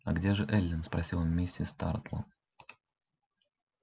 а где же эллин спросила миссис тарлтон